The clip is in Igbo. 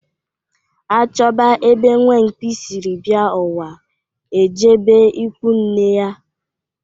A chọba ebe nwamkpi siri bịa ụwa e jebe ikwunne ya.